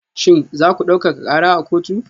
Shin za ku daukaka kara a kotu?